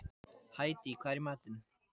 Hædý, hvað er í matinn?